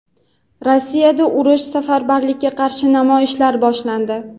Rossiyada urush va safarbarlikka qarshi namoyishlar boshlandi.